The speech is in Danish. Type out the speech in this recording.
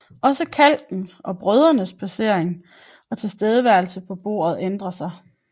Også kalkens og brødenes placering og tilstedeværelse på bordet ændrer sig